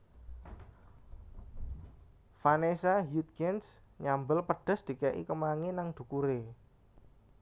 Vanessa Hudgens nyambel pedes dike'i kemangi nang dhukure